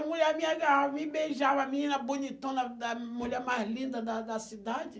A mulher me agarrava, me beijava, a menina bonitona, a mulher mais linda da da da cidade.